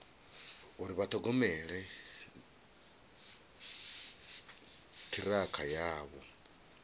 uri vha ṱhogomela ṱhirakha yavho